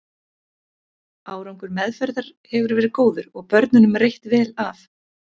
Árangur meðferðar hefur verið góður og börnunum reitt vel af.